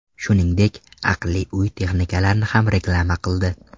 Shuningdek, aqlli uy texnikalarini ham reklama qildi.